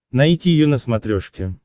найти ю на смотрешке